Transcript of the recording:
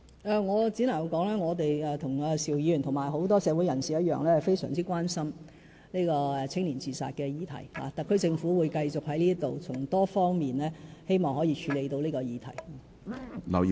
我只能說，我們與邵議員，以及其他社會人士一樣非常關心年青人自殺議題，特區政府會繼續循多方面處理這個議題。